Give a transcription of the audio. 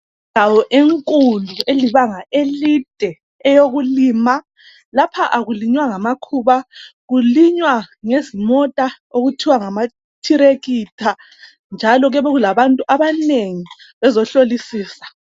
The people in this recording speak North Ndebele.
Indawo enkulu elibanga elide eyokulima, lapha akulinywa ngamakhuba kulinywa ngezimota okuthwa ngama thirekitha njalo kuyabe kulabantu abanengi bezohlolisisa.